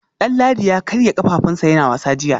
Danladi ya karya kafafunsa yana wasa jiya